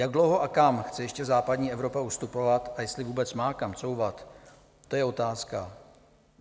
Jak dlouho a kam chce ještě západní Evropa ustupovat a jestli vůbec má kam couvat, to je otázka.